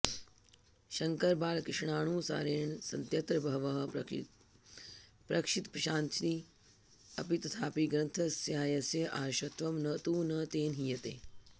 शङ्करबालकृष्णानुसारेण सन्त्यत्र बहवः प्रक्षिप्तांशी अपि तथापि ग्रन्थस्यास्य आर्षत्वं तु न तेन हीयते